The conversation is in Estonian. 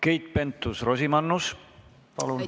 Keit Pentus-Rosimannus, palun!